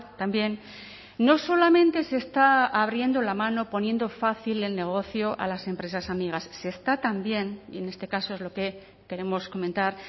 también no solamente se está abriendo la mano poniendo fácil el negocio a las empresas amigas se está también y en este caso es lo que queremos comentar